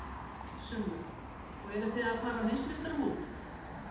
Sunna: Og eruð þið að fara á heimsmeistaramót?